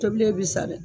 Tobilen bi sa dɛ